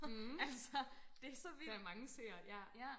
mh der er mange søer ja